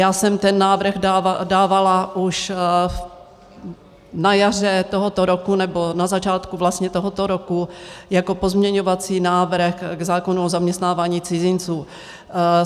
Já jsem ten návrh dávala už na jaře tohoto roku, nebo na začátku vlastně tohoto roku jako pozměňovací návrh k zákonu o zaměstnávání cizinců.